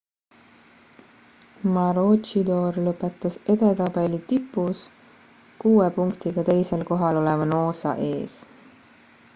maroochydore lõpetas edetabeli tipus kuue punktiga teisel kohal oleva noosa ees